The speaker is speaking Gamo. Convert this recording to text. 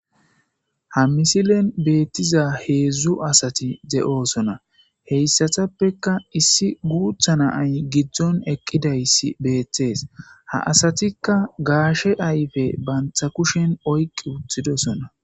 Ha misilen beettiza heedzdzu asati de'oosona heyssatappeka issi guutha na ay giddzon eqqidaysi beeththees ha asatikka gaashe ayfe bantha kushen oyqi wuthidosona